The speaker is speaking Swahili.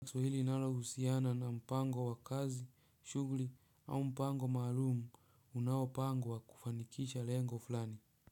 Swali linalohusiana na mpango wa kazi, shughuli au mpango maalum unaopangwa kufanikisha lengo fulani.